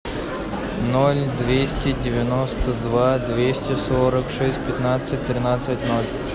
ноль двести девяносто два двести сорок шесть пятнадцать тринадцать ноль